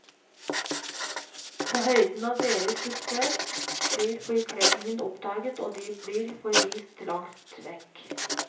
På høyden av deres suksess, blir forkledningen oppdaget og de blir forvist langt vekk.